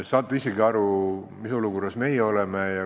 Saate isegi aru, mis olukorras meie oleme.